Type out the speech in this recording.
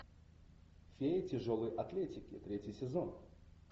феи тяжелой атлетики третий сезон